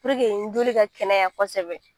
joli ka kɛnɛya kosɛbɛ